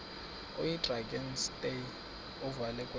oyidrakenstein uvele kwema